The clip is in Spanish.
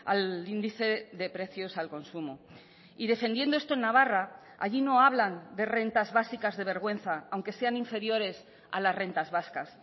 al índice de precios al consumo y defendiendo esto en navarra allí no hablan de rentas básicas de vergüenza aunque sean inferiores a las rentas vascas